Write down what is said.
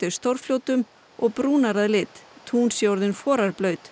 stórfljótum og brúnar að lit tún séu orðin